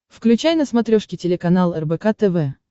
включай на смотрешке телеканал рбк тв